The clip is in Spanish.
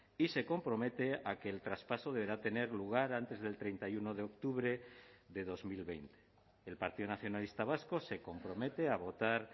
y se compromete a que el traspaso deberá tener lugar antes del treinta y uno de octubre de dos mil veinte el partido nacionalista vasco se compromete a votar